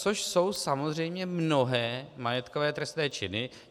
Což jsou samozřejmě mnohé majetkové trestné činy.